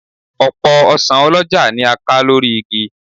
Ọ̀pọ̀ ọsàn ọlọ́jà ni a ká lórí igi